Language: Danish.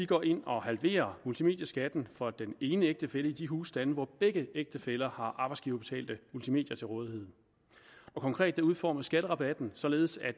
går ind og halverer multimedieskatten for den ene ægtefælle i de husstande hvor begge ægtefæller har arbejdsgiverbetalte multimedier til rådighed og konkret udformes skatterabatten således at